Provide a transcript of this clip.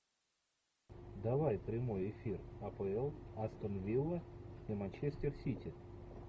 давай прямой эфир апл астон вилла и манчестер сити